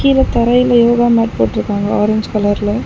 கீழ தரையில யோகா மேட் போட்ருக்காங்க ஆரஞ்சு கலர்ல .